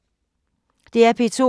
DR P2